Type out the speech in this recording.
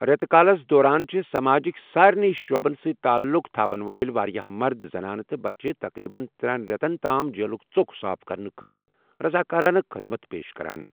ریتہٕ کٲلِس دوران چھِ سماجٕک سٲرنی شعبَن سۭتۍ تعلق تھوِن وٲلۍ واریاہ مرد، زنانہٕ تہٕ بچہِ تقریباً ترٛٮ۪ن رٮ۪تَن تام جیٖلُک ژوٚک صاف کرنہٕ خٲطرٕ رضاکارانہٕ خدمت پیش کران۔